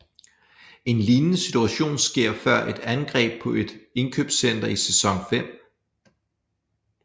En lignende situation sker før et angreb på et indkøbscenter i Sæson 5